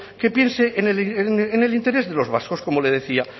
que piense en el interés de los vascos como le decía